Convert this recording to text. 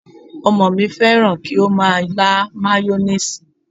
Ọmọ mi fẹ́ràn kí ó máa lá mayoníìsì